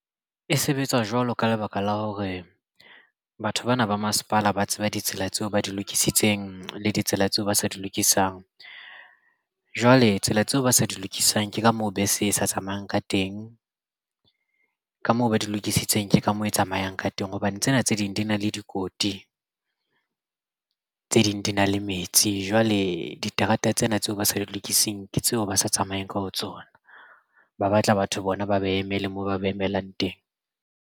E sebetsa jwalo ka lebaka la hore batho bana ba masepala ba tseba ditsela tseo ba di lokisitseng le ditsela tseo ba sa di lokisang. Jwale tsela tseo ba sa di lokisang ke ka moo bese e sa tsamayang ka teng ka moo ba di lokisitseng ke ka mo e tsamayang ka teng hobane tsena tse ding di na le dikoti tse ding di na le metsi. Jwale diterata tsena tseo ba sa di lokisang ke tseo ba sa tsamayeng ka ho tsona ba batla batho bona ba ba emele moo ba ba emelang teng.